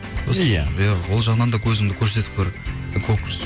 иә иә ол жағынан да өзіңді көрсетіп көр